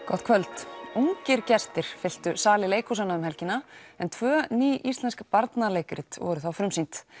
gott kvöld ungir leikhúsgestir fylltu sali leikhúsanna um helgina en tvö ný íslensk barnaleikrit voru frumsýnd